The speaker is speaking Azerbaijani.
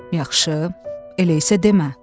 Yaxşı, elə isə demə.